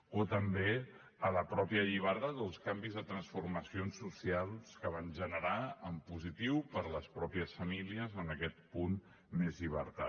o també la mateixa llibertat o els canvis de transformacions socials que van generar en positiu per a les mateixes famílies en aquest punt més llibertat